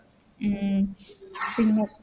ഉം പിന്നെ